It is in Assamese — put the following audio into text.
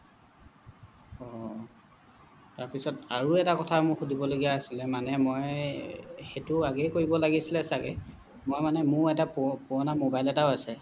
অহ তাৰ পিছত আৰু এটা কথা মোৰ সুধিব লগীয়া আছিলে মানে মই সেইটো আগেই কৰিব লাগিছিলে ছাগে মই মানে মোৰ এটা পুৰণা মবাইল এটাও আছে